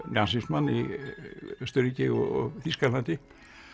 nasismann í Austurríki og Þýskalandi